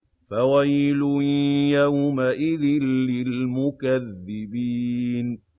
فَوَيْلٌ يَوْمَئِذٍ لِّلْمُكَذِّبِينَ